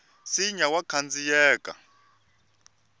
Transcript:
nsinya wa khandziyeka